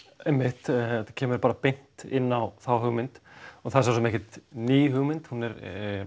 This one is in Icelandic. einmitt þetta kemur beint inn á þá hugmynd og það er svo sem ekkert ný hugmynd hún er